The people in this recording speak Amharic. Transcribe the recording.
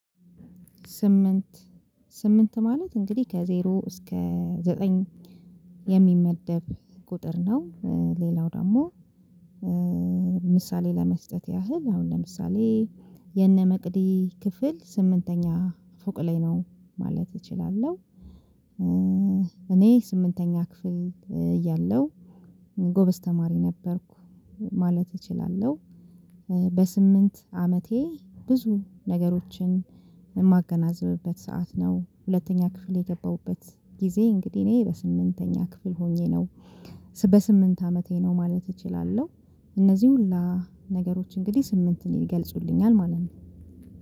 ስምንት ስምንት ማለት እንግዲህ ከዜሮ እስከ ዘጠኝ የሚመደብ ቁጥር ነው። ሌላው ደግሞ ምሳሌ ለመስጠት ያህል አሁን ለምሳሌ የነ መቅዲ ክፍል ስምንተኛ ፎቅ ላይ ነው ማለት እችላለሁ። እኔ ስምንተኛ ክፍል እያለሁ ጎበዝ ተማሪ ነበርኩ ማለት እችላለሁ። በስምንት አመቴ ብዙ ነገሮችን የማገናዝብበት ሰዓት ነው። ሁለተኛ ክፍል የገባሁበት ጊዜ እንግዲህ እኔ በስምንተኛ ክፍል ሆኜ ነው በስምንት አመቴ ነው ማለት እችላለሁ። እነዚህ ሁላ ነገሮች እንግዲህ ስምንትን ይገልጹልኛል ማለት ነው።